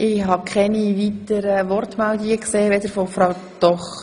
Ich habe keine weiteren Fraktionsmeldungen.